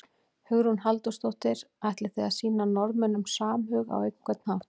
Hugrún Halldórsdóttir: Og ætlið þið að sýna Norðmönnum samhug á einhvern hátt?